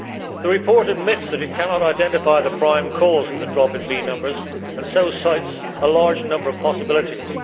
The report admits that it cannot identify the prime cause for the drop in bee numbers, and so cites a large number of possibilities.